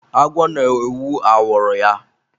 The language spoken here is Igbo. Agwọ na-ewu awụrụ ya.